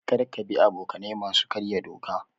Kar ka bi abokanai masu karya doka.